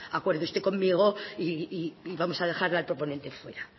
oiga acuerde usted conmigo y vamos a dejar al proponente fuera